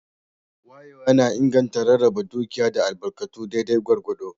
Wayewa na inganta rarraba dukiya da albarkatu daidai gwargwado.